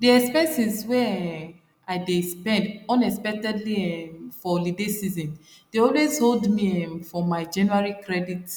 the expenses wey um i dey spend unexpectedly um for holiday season dey always hold me um for my january credit